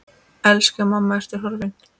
Elsku mamma, Ertu horfin?